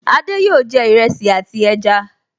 Adé yòó jẹ iresi àti ẹja